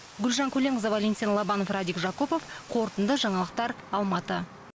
гүлжан көленқызы валентин лобанов радик жакупов қорытынды жаңалықтар алматы